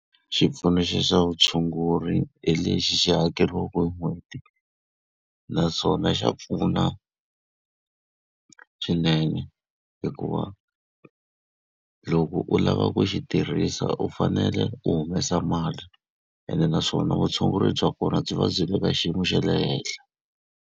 Xipfuno xa vutshunguri hi lexi xi hakeriwaka hi n'hweti. Naswona xa pfuna swinene hikuva wa loko u lava ku xi tirhisa u fanele u humesa mali, ene naswona vutshunguri bya kona byi va byi le ka xiyimo xa le henhla.